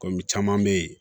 caman be yen